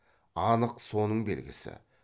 анық соның белгісі